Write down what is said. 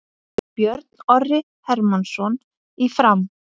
Björn Orri Hermannsson í Fram